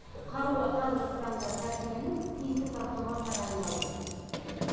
қаруы қазіргі таңда тәркіленіп тиісті сараптамалар тағайындалды